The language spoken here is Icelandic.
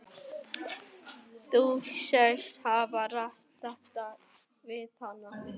Þóra Kristín Ásgeirsdóttir: Þú segist hafa rætt þetta við hana?